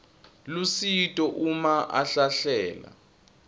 lusito uma ahlahlela